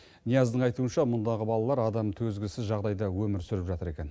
нияздың айтуынша мұндағы балалар адам төзгісіз жағдайда өмір сүріп жатыр екен